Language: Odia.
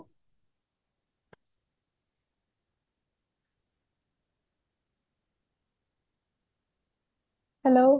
hello